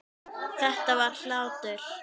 Þetta var hlátur.